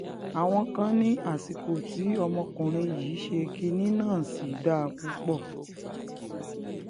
àwọn kan ní àsìkò tí ọmọkùnrin yìí ṣe kinní náà sì dáa púpọ̀